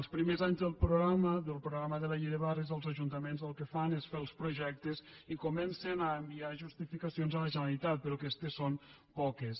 els primers anys del programa del progra·ma de la llei de barris els ajuntaments el que fan és fer els projectes i comencen a enviar justificacions a la generalitat però aquestes són poques